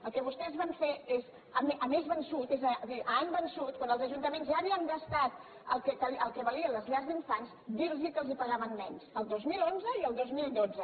el que vostès van fer és a mes vençut és a dir a any vençut quan els ajuntaments ja havien gastat el que valien les llars d’infants dir los que els pagaven menys el dos mil onze i el dos mil dotze